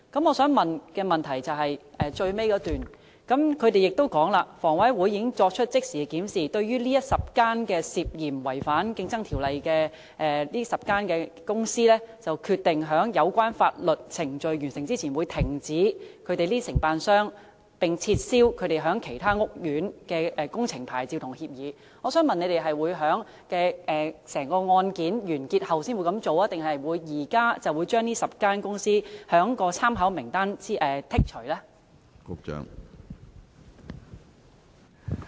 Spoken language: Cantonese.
我想提出的補充質詢是，當局在主體答覆的最後一段指出："以10間建築工程公司涉嫌違反《競爭條例》的案件為例，房委會已即時作出檢視，並決定在有關法律程序完成前，停止安排這些承辦商駐邨/苑，並撤銷他們在其他屋邨/苑承辦裝修工程的牌照/協議。"我想問當局會在整宗案件完結後才這樣做，還是現時就會把這10間公司從參考名單中剔除呢？